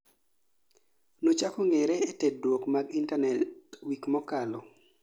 nochako ng'eree e tudruok mag intanet wik mokalo